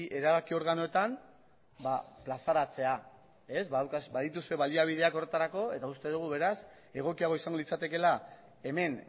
erabaki organoetan plazaratzea badituzue baliabideak horretarako eta uste dugu beraz egokiago izango litzatekeela hemen